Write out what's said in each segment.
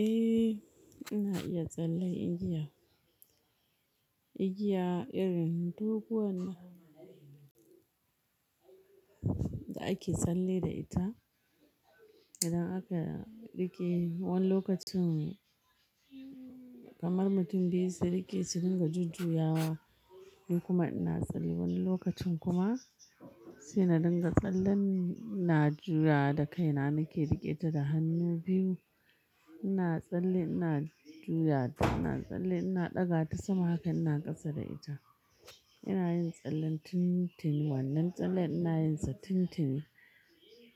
Eh ina iya tsalle igiya, igiya irin duk wannan da ake tsalle da ita. Idan aka riƙe wani lokacin kamar mutum biyu su riƙe su ringa jujjuya wa, ni kuma ina tsalle wani lokacin kuma sai na dinga tsallen na juya da kaina nake riƙe ta da hannu biyu. Ina tsalle ina juya ta, ina tsalle ina ɗaga ta sama haka ina ƙasa da ita. Ina yin tsallen tun tini wannan tsalle ina yin sa tun tini,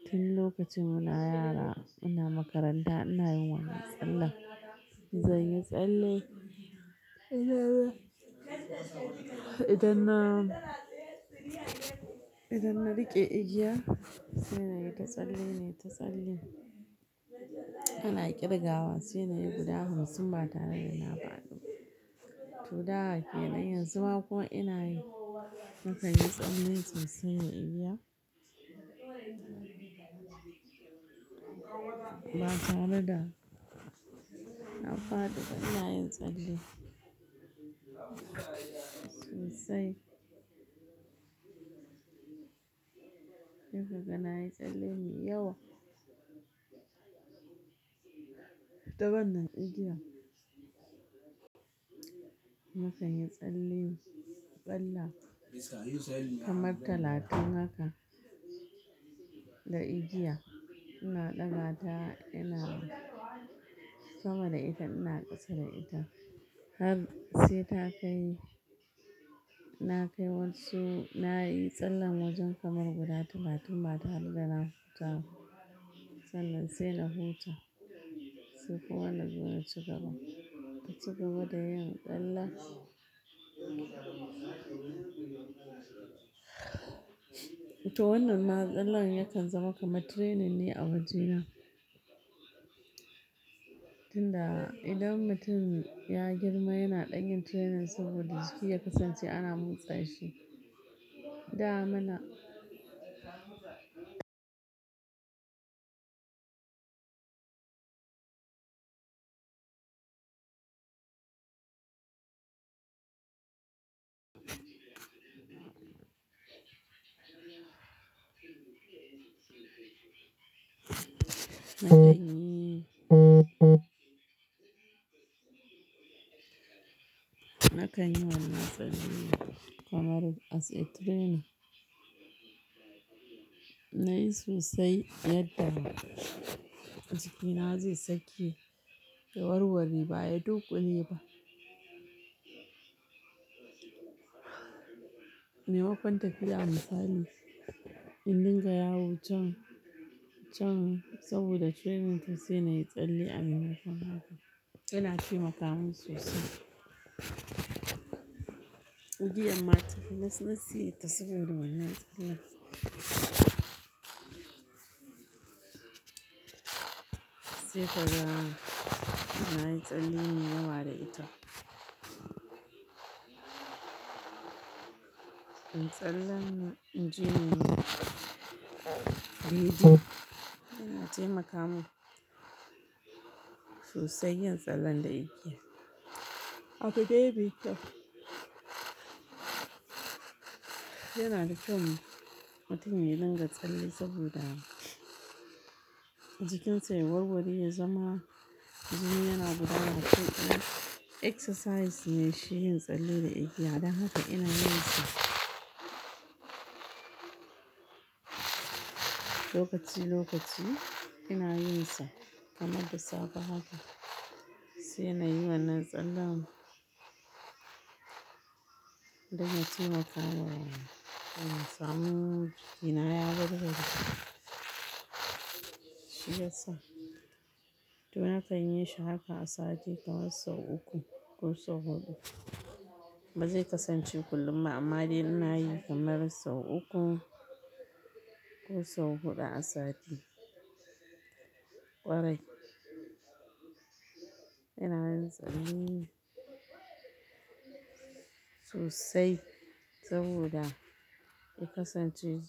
tun lokacin muna yara ina makaranta ina yin wannan tsallen. Zanyi tsalle idan na, idan na riƙe igiya sai na yi ta tsalle nai ta tsalle. Ana ƙirgawa sai na yi guda hamsin bata tare da nafadiba. To da ke nan, yanzu ma kuma ina yi, na kan yi tsalle so sai da yi igiya ba tare da nafadi ba ina yin tsalle sosai. Duk kaga nayi tsalle mai yawa. Taban na igiyan. Na kan yi tsalle tsalle kamar talatin haka da igiya. Ina ɗaga ta ina sama da ita ina kasa da ita. Har sai ta kai, na kai wansu na yi tsallen wajen kamar guda talatin bata tare dana hutaba sannan sai na huta. Sai kuma na zo na ci gaba, na ci gaba da yin tsallen. To wannan ma tsallen yakan zama kamar training ne a wajena. Tunda idan mutum ya girma yana ɗanyin training saboda jiki ya kasance ana motsa shi. Da muna na kan yi wannan tsalle kamar as a training. Na yi sosai yadda jikina zai sake warware ba ya dunƙu le ba. Me makwanta tafiya a misali in dinga yawo can, can saboda training to sai na yi tsalle a maimakon haka. Ina tai makamin sosai. Igiyan matafi nas, nasi ta saboda wannan tsalle. Sai kaga na yi tsalle mai yawa da ita. Tsallen jini biyu ina je makamin sosai yin tsalle da igiya. Abin ne me bi kyau, yana da kyau mutum ya dinga tsalle saboda jikinsa ya warware ya zama jini yana gudana, ya fi yin exercise nai shi yin tsalle da igiya. Dan haka ina yin sa lokaci lokaci ina yin sa kamar da safe haka sai na yi wannan tsalle mu. Dan yataima kamawa, don samun jikina ya war ware shiyasa. To na kan yi shi haka a sati kamar sau uku ko sau huɗu. Ba zai kasance kullum ba amma dai ina yi kamar sau uku ko sau huɗu a sati ƙwarai. Ina yin tsalle sosai saboda ya kasance.